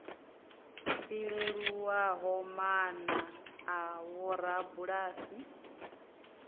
i leluwaho maana a vhorabulasi